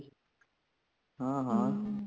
ਹਾਂ ਹਾਂ